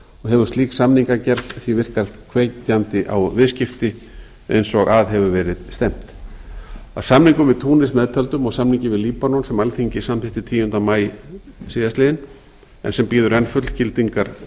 hefur slík samningagerð því virkað hvetjandi á viðskipti eins og að hefur verið stefnt að samningi við túnis meðtöldum og samningi við líbanon sem alþingi samþykkti tíunda maí síðastliðinn en sem bíður enn fullgildingar